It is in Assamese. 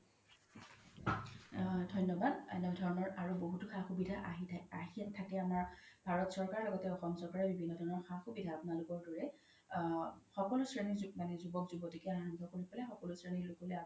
ধন্যবাদ এনে ধৰণৰ আৰু বহুতো সা সুভিধা আহি থাকে আমাৰ ভাৰত চৰকাৰ লগতে অসম চৰকাৰ বিভিন্ন ধৰণৰ সা সুভিধা আপোনালোকৰ দৰে আ সকলো শ্ৰেণি জুৱ্ক জুৱ্কতিকে আৰাম্ৱ্য কৰি পেলে সকলো শ্ৰেণিৰ লোক লে আৰাম্ৱ্য কৰিছে